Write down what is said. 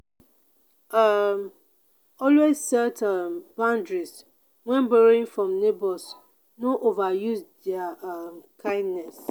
um always set um boundaries when borrowing from neighbors no overuse their um kindness.